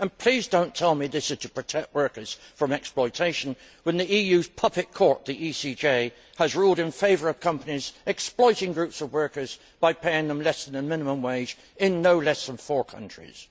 Please do not tell me that this is to protect workers from exploitation, when the EU's puppet court, the ECJ, has ruled in favour of companies exploiting groups of workers by paying them less than a minimum wage in no less than four countries.